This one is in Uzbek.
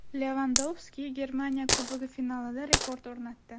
Levandovski Germaniya Kubogi finalida rekord o‘rnatdi.